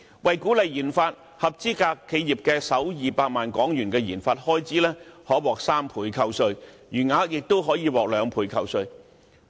為鼓勵研發，合資格企業的首200萬元研發開支可獲3倍扣稅，餘額亦可獲兩倍扣稅。